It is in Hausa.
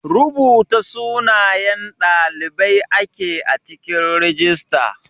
Rubuta sunayen ɗalibai ake a cikin rijista.